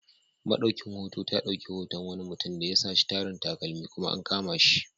Maɗaukin hoto ta dauki hoton wani mutum da ya saci tarin takalmi, kuma an kama shi.